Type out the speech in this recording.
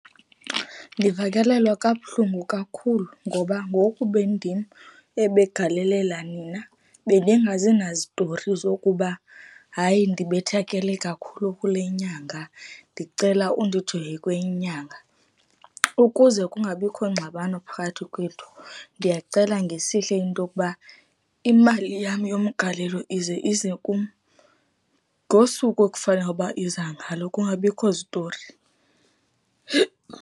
Ndivakalelwa kabuhlungu kakhulu ngoba ngoku ibindim ebegalelela nina, bendingazi nazitori zokuba, hayi ndibethakele kakhulu kule nyanga, ndicela undijonge kwenye nyanga. Ukuze kungabikho ngxabano phakathi kwethu, ndiyacela ngesihle into okuba, imali yam yomgalelo ize ize kum, ngosuku ekufanele uba iza ngalo kungabikho zitori.